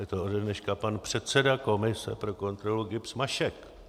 Je to ode dneška pan předseda komise pro kontrolu GIBS Mašek.